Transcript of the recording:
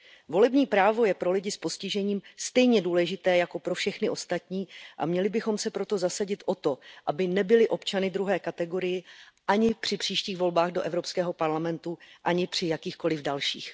Volební právo je pro lidi s postižením stejně důležité jako pro všechny ostatní a měli bychom se proto zasadit o to, aby nebyli občany druhé kategorie ani při příštích volbách do Evropského parlamentu, ani při jakýchkoliv dalších.